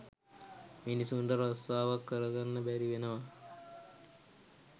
මිනිස්සුන්ට රස්සාවක් කර ගන්න බැරි වෙනවා